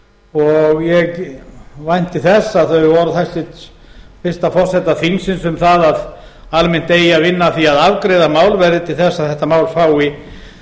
kemur og ég vænti þess að þau orð hæstvirts fyrsta forseta þingsins um það að almennt eigi að vinna að því að afgreiða mál verði til þess að þetta mál fái